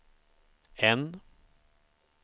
N